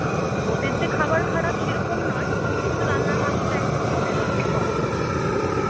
ওদের যে খাবার খারাপ সেরকম নয় কিন্তু রান্নার মাসিটা একদম পদের রান্না করে না।